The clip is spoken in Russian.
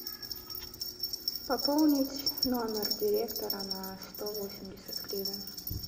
пополнить номер директора на сто восемьдесят гривен